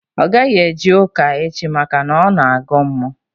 Ọ gaghị eje ụka echi maka na ọ na-agọ mmụọ